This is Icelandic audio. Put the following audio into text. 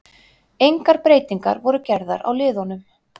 Engar breytingar voru gerðar á liðunum.